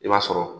I b'a sɔrɔ